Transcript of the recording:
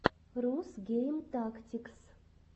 рус гейм тактикс